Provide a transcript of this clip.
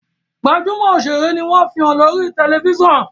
gbajúmò òṣèré ní wón fihàn lórí tẹlifísàn.